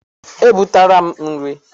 E butela m nri.